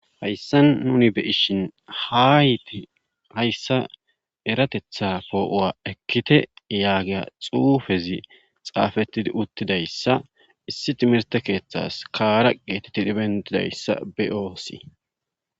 hayssan nuni be'ishin haayti hayssa eratetha poo7owa ekkite yaagiya xuufezi xaafettidi uttidayssa issi timirte keeththas kaara geetetidi bentidayssa be7oosi